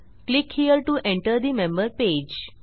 click here to enter the member page